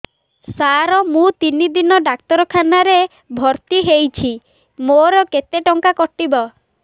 ସାର ମୁ ତିନି ଦିନ ଡାକ୍ତରଖାନା ରେ ଭର୍ତି ହେଇଛି ମୋର କେତେ ଟଙ୍କା କଟିବ